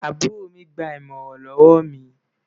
àbúrò mi gbà imọran lówó mí